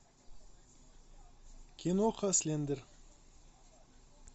киноха слендер